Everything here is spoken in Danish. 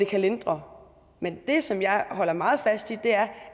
kan lindre men det som jeg holder meget fast i er